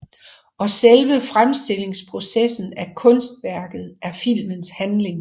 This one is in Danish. Og selve fremstillingsprocessen af kunstværket er filmens handling